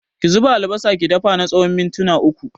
Ki zuba albasa ki dafa na tsawon mintuna uku